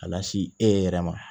Ka lasi e yɛrɛ ma